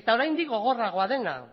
eta oraindik gogorragoa dena